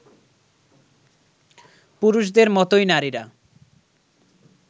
পুরুষদের মতোই নারীরা